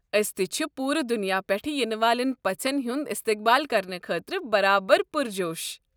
ٲسۍ تہِ چھِ پوٗرٕ دنیا پٮ۪ٹھ یِنہٕ والٮ۪ن پژھٮ۪ن ہُنٛد استقبال کرنہٕ خٲطرٕ برابر پرجوش۔